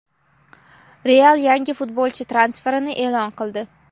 "Real" yangi futbolchi transferini e’lon qildi.